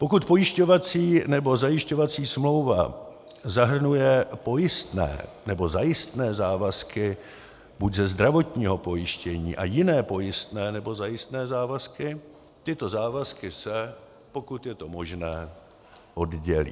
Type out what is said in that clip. Pokud pojišťovací nebo zajišťovací smlouva zahrnuje pojistné nebo zajistné závazky buď ze zdravotního pojištění a jiné pojistné nebo zajistné závazky, tyto závazky se, pokud je to možné, oddělí.